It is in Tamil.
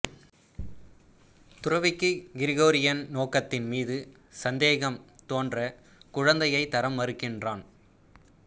துறவிக்கு கிகோரியின் நோக்கத்தின் மீது சந்தேகம் தோன்ற குழந்தையைத் தர மறுக்கிறான்